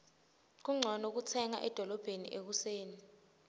kuncono kutsenga edolobheni ekuseni